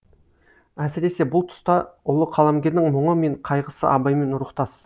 әсіресе бұл тұста ұлы қаламгердің мұңы мен қайғысы абаймен рухтас